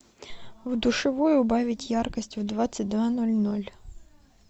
в душевой убавить яркость в двадцать два ноль ноль